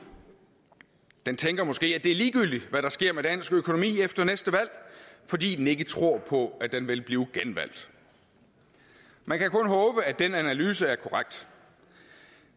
den tænker måske at det er ligegyldigt hvad der sker med dansk økonomi efter næste valg fordi den ikke tror på at den vil blive genvalgt man kan kun håbe at den analyse er korrekt